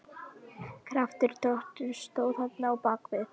Kraftur Drottins stóð þarna á bak við.